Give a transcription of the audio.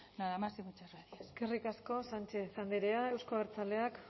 nada más y muchas gracias eskerrik asko sánchez andrea euzko abertzaleak